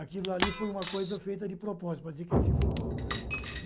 aquilo ali foi uma coisa feita de propósito, para dizer que ele se enforcou.